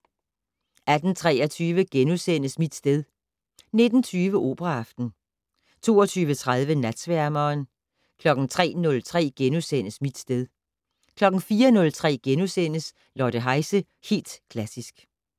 18:23: Mit sted * 19:20: Operaaften 22:30: Natsværmeren 03:03: Mit sted * 04:03: Lotte Heise - Helt Klassisk *